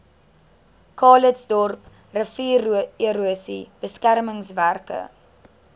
calitzdorp riviererosie beskermingswerke